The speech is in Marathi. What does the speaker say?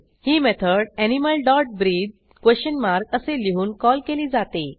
ही method animal dot breath question mark असे लिहून कॉल केली जाते